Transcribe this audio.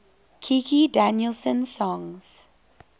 kikki danielsson songs